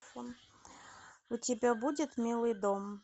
у тебя будет милый дом